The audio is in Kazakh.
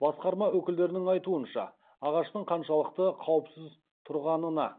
басқарма өкілдерінің айтуынша ағаштың қаншалықты қауіпсіз тұрғанына